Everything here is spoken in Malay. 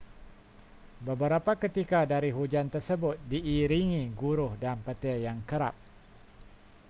beberapa ketika dari hujan tersebut diiringi guruh dan petir yang kerap